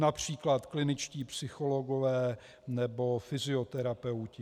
Například kliničtí psychologové nebo fyzioterapeuti.